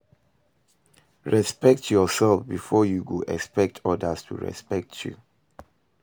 Respekt urself first bifor yu go expect odas to respekt yu